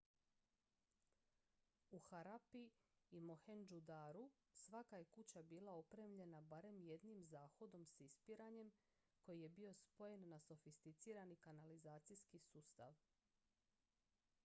u harappi i mohendžu daru svaka je kuća bila opremljena barem jednim zahodom s ispiranjem koji je bio spojen na sofisticirani kanalizacijski sustav